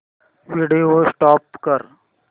video stop कर